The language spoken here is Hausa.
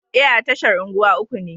E, a tashar unguwa uku ne.